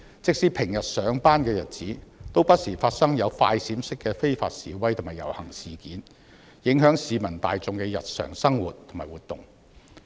即使平日上班的日子，也不時發生"快閃式"的非法示威和遊行，影響市民大眾的日常生活。